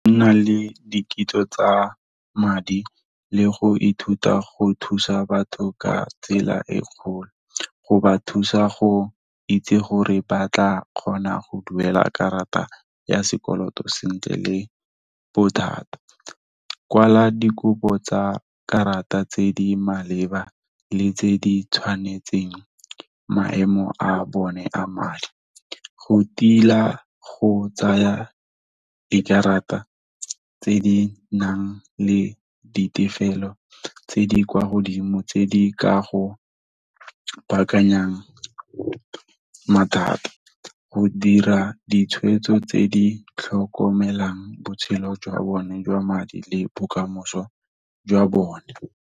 Nna le dikitsiso tsa madi, le go ithuta go thusa batho ka tsela e kgolo, go ba thusa go itse gore ba tla kgona go duela karata ya sekoloto sentle le bothata. Kwala dikopo tsa karata tse di maleba le tse di tshwanetseng maemo a bone a madi, go tila go tsaya di karata tse di nang le ditefelelo tse di kwa godimo, tse di ka go bankanyang mathata. Go dira ditshwetso tse di tlhokomelang botshelo jwa bone jwa madi le bokamoso jwa bone.